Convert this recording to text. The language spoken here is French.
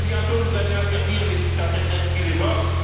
Et bientôt, vous allez interdire les sites internet qui l'évoquent.